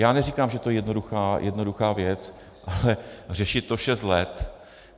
Já neříkám, že to je jednoduchá věc, ale řešit to šest let...